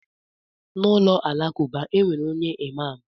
Na ụlọ alakụba, e nwere onye imam.